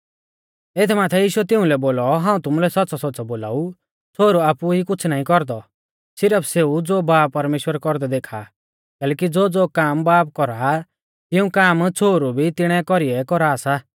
एथ माथै यीशुऐ तिउंलै बोलौ हाऊं तुमुलै सौच़्च़ौसौच़्च़ौ बोलाऊ छ़ोहरु आपु ई कुछ़ नाईं कौरदौ सिरफ सेऊ ज़ो बाब परमेश्‍वर कौरदै देखा आ कैलैकि ज़ोज़ो काम बाब कौरा आ तिऊं काम छ़ोहरु भी तिणै कौरीऐ कौरा सा